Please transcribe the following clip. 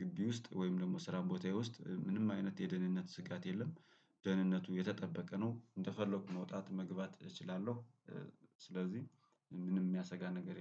ግቢ ውስጥ ወይም ደግሞ ስራ ቦታዬ ውስጥ ምንም አይነት የደህንነት ስጋት የለም። ደህንነቱ የተጠበቀ ነው እንደፈለኩ መውጣት መግባት እችላለሁ። ስለዚህ ምንም የሚያሰጋ ነገር የለም